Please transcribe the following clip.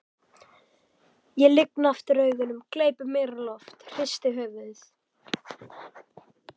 Ég lygni aftur augunum, gleypi meira loft, hristi höfuðið.